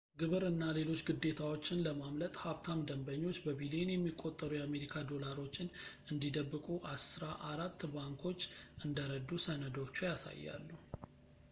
ግብር እና ሌሎች ግዴታዎችን ለማምለጥ ሀብታም ደንበኞች በቢሊየን የሚቆጠሩ የአሜሪካ ዶላሮችን እንዲደብቁ አስራ አራት ባንኮች እንደረዱ ሰነዶቹ ያሳያሉ